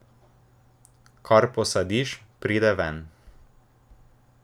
Kar posadiš, pride ven.